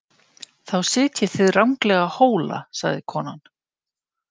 Þá sitjið þið ranglega Hóla, sagði konan.